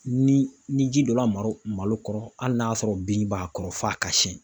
Ni ni ji donna malo kɔrɔ hali n'a sɔrɔ bin b'a kɔrɔ f'a ka siɲɛ